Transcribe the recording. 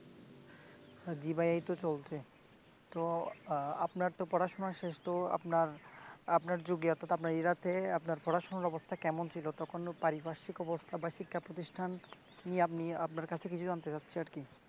জী ভাইয়া এইতো চলছে তো আহ আপানারতো পড়াশুনা শেষ তো আপনার যুগে অর্থাৎ আপনার এরাতেঁ আপনার পড়াশুনার অবস্থা কেমন ছিল তখন পারিপার্শ্বিক অবস্থা বা শিক্ষাপ্রতিষ্ঠান নিয়ে আপনি আপনার কাছে কিছু জানতে চাচ্ছি আরকি